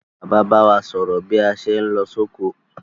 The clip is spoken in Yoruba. Bàbá ba wa sòrò bí a sé n lo sóko